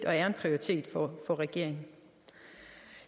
og er en prioritet for regeringen